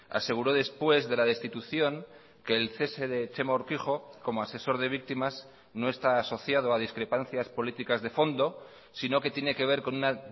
aseguró después de la destitución que el cese de txema urkijo como asesor de víctimas no está asociado a discrepancias políticas de fondo sino que tiene que ver con una